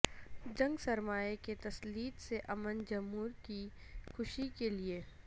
جنگ سرمایے کے تسلط سے امن جمہور کی خوشی کے لئے